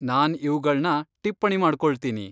ನಾನ್ ಇವುಗಳ್ನ ಟಿಪ್ಪಣಿ ಮಾಡ್ಕೊಳ್ತೀನಿ.